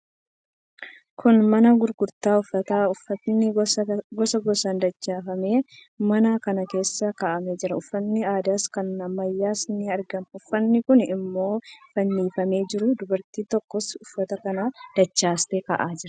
Kun mana gurgurtaa uffataati. Uffatni gosa gosaan dachaafamee mana kana keessa kaa'amee jira. Uffatni aadaas, kan ammayyaas ni argama. Uffatni kaan immoo fannifamanii jiru. Dubartiin tokkos uffata kana dachaastee kaa'aa jirti.